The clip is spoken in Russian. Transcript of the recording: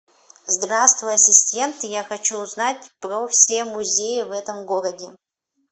здравствуй ассистент я хочу узнать про все музеи в этом городе